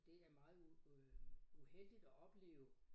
Det er meget øh uheldigt at opleve